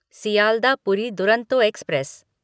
Sealdah Puri Duronto express